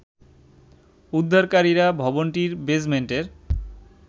উদ্ধারকারীরা ভবনটির বেজমেন্টের